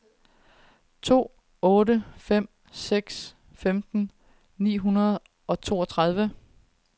to otte fem seks femten ni hundrede og toogtredive